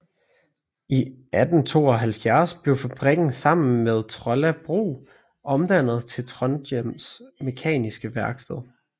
I 1872 blev fabrikken sammen med Trolla Brug omdannet til Trondhjems Mekaniske Verksted